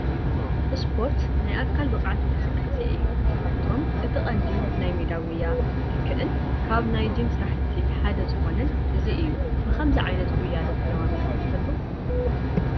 ስፖርት፣ ናይ ኣካል ብቕዓት እንቅስቃሴ እዩ፡፡ ካብኣቶም እቲ ቀንዲ ናይ ሜዳ ጉያ ዝትክእን ካብ ናይ ጂም ስራሕቲ ሓደ ዝኾነን እዚ እዩ፡፡ ብኸመዚ ዓይነት ጉያ ዶ ተለማሚድኩም ትፈልጡ?